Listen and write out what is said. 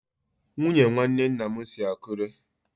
Nwunye nwanne nna m si Akure.